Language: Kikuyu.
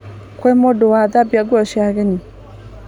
Kwĩ mũndũ wathambia nguo cia ageni?